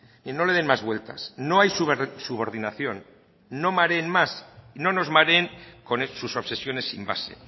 y no le den más vueltas no hay subordinación no mareen más no nos mareen con sus obsesiones sin base